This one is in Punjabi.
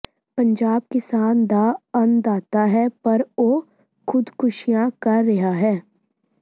ਪੰਜਾਬ ਕਿਸਾਨ ਦਾ ਅੰਨਦਾਤਾ ਹੈ ਪਰ ਉਹ ਖ਼ੁਦਕੁਸ਼ੀਆਂ ਕਰ ਰਿਹਾ ਹੈ